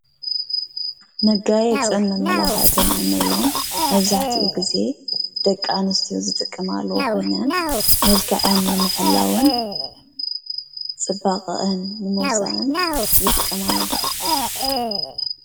መጋየፅን መመላኸዕትን እንብሎም መብዛሕቲኡ ጊዜ ደቂ ኣንስትዮ ዝጥቀማሉ ኮይነን መልክዐን ንምሕላውን ፅባቐአን ንምውፃእን ይጥቀማሉ፡፡